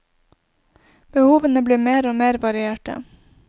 Behovene blir mer og mer varierte.